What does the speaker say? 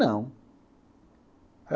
Não.